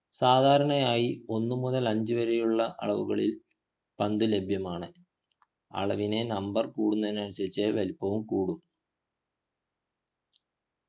സാധരണയായി ഒന്നുമുതൽ അഞ്ചു വരെയുള്ള അളവുകളിൽ പന്തുകൾ ലഭ്യമാണ് അളവിൻ്റെ number കൂടുന്നതിനനുസരിച്ചു വലുപ്പവും കൂടും